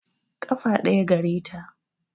Ƙafa ɗaya gare ta